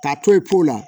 K'a to ye po la